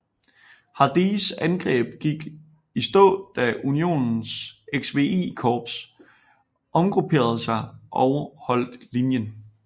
Hardees angreb gik i stå da Unionens XVI korps omgrupperede sig og holdt linjen